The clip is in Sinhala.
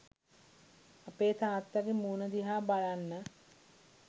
අපේ තාත්තාගේ මූණ දිහා බලන්න